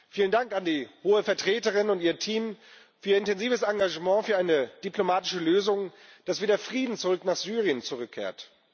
Vielen Dank an die Hohe Vertreterin und ihr Team für ihr intensives Engagement für eine diplomatische Lösung, damit wieder Frieden nach Syrien zurückkehrt.